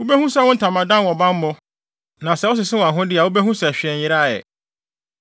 Wubehu sɛ wo ntamadan wɔ bammɔ; na sɛ wosese wʼahode a wubehu sɛ hwee nyeraa ɛ.